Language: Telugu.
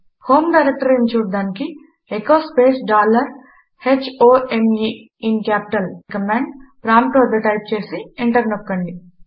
హోం డైరెక్టరీ చూడటానికి echo space dollar h o m e in capital అనే కమాండ్ ప్రాంప్ట్ వద్ద టైప్ చేసి ఎంటర్ నొక్కండి